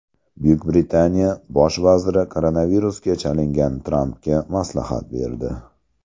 Buyuk Britaniya bosh vaziri koronavirusga chalingan Trampga maslahat berdi.